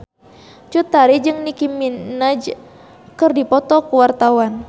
Cut Tari jeung Nicky Minaj keur dipoto ku wartawan